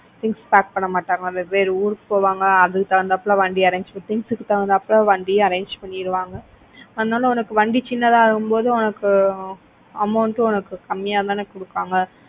things pack பண்ண மாட்டாங்க வெவ்வேறு ஊருக்கு போவாங்க அதுக்கு தகுந்தாப்ல வண்டி arrange பண்ணுவாங்க. things க்கு தகுந்த மாதிரி வண்டி arrange பண்ணிடுவாங்க. அதனால உனக்கு வந்து சின்னதாகும் போது உனக்கு amount உம் உனக்கு கம்மியா தானே கொடுப்பாங்க.